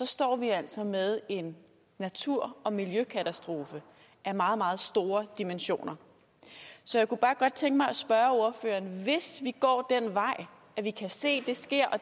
står vi altså med en natur og miljøkatastrofe af meget meget store dimensioner så jeg kunne bare godt tænke mig at spørge ordføreren om hvis vi går den vej at vi kan se det sker og